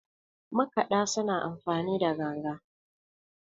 makaɗa suna amfani ganga